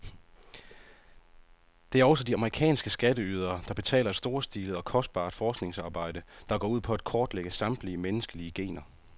Det er også de amerikanske skatteydere, der betaler et storstilet og kostbart forskningsarbejde, der går ud på at kortlægge samtlige menneskelige gener.